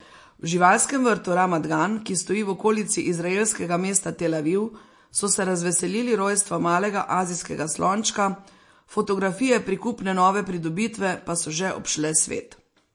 V živalskem vrtu Ramat Gan, ki stoji v okolici izraelskega mesta Tel Aviv, so se razveselili rojstva malega azijskega slončka, fotografije prikupne nove pridobitve pa so že obšle svet.